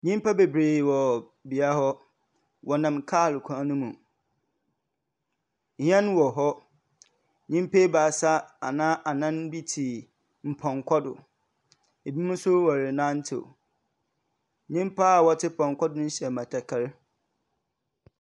Nnipa bebree wɔ bea hɔ, ɔnam kaa kwan mu. Hyɛn wɔ hɔ, nnipa abaasa anaa nnan bi te pɔnkɔ do ɛbi mo nso ɔrenantew. Nnipa ɔte pɔnkɔ do no hyɛ batakari.